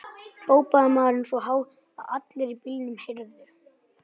hrópaði maðurinn svo hátt að allir í bílnum heyrðu.